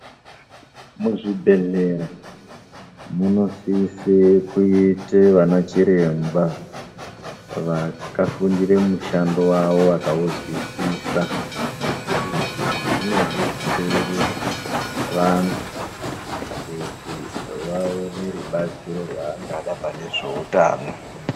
Muzvibhedhlera, munosise kuite vana chiremba, vakafundire mushando wavo vakauzwisisa. Izvi zvinodetsere, vantu kuti vaone rubatsiro rwaangada pane zveutano.